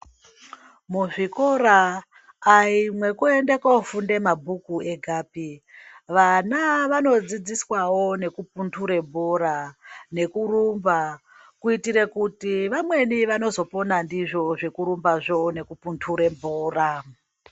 Muzvikora ayi mwekuenda kofunda mabhuku egapi vana vanodzidziswawo nekupnhure bhora nekurumba kuitire kuti vamweni vanozopona ndizvo zvekurumbazvo nekupunhure bhora.